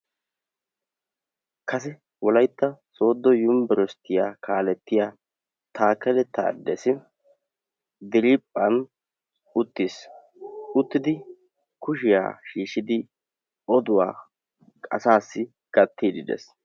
kase wolaytta sooddo yunbburshiyaa kaaletiyaa takelle tadessi diriphphan uttis; uttidi kushiyaa shiishshiidi oduwaa asassi gaatide des.